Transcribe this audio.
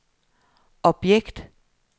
objekt